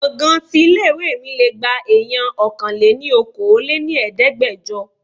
Gbọ̀ngán tí ilé ìwé mi lé gba èèyàn Ọkàn-lé-ní-okòó lé ní Ẹ̀ẹ́dẹ́gbẹjọ.